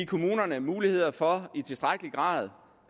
kommunerne mulighed for i tilstrækkelig grad